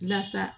Lasa